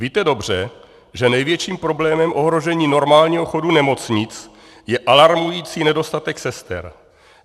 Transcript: Víte dobře, že největším problémem ohrožení normálního chodu nemocnic je alarmující nedostatek sester.